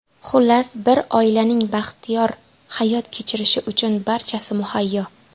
Xullas, bir oilaning baxtiyor hayot kechirishi uchun barchasi muhayyo.